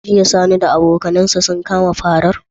Jiya sani da abokan su kama farar?